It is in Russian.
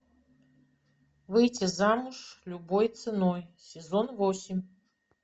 выйти замуж любой ценой сезон восемь